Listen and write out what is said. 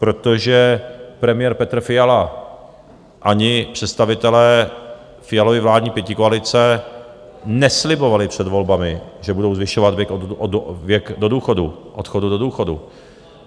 Protože premiér Petr Fiala ani představitelé Fialovy vládní pětikoalice neslibovali před volbami, že budou zvyšovat věk odchodu do důchodu.